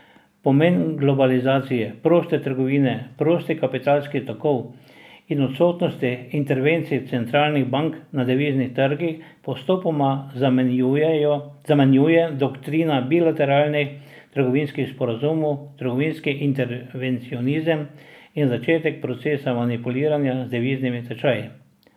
Pomen globalizacije, proste trgovine, prostih kapitalskih tokov in odsotnosti intervencij centralnih bank na deviznih trgih postopoma zamenjuje doktrina bilateralnih trgovinskih sporazumov, trgovinski intervencionizem in začetek procesa manipuliranja z deviznimi tečaji.